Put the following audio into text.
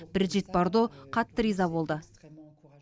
брижит бардо қатты риза болды